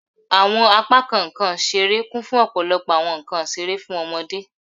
Awọn apakan nkan isere kun fun ọpọlọpọ awọn nkan isere fun awọn ọmọde